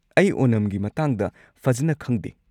ꯑꯩ ꯑꯣꯅꯝꯒꯤ ꯃꯇꯥꯡꯗ ꯐꯖꯟꯅ ꯈꯪꯗꯦ꯫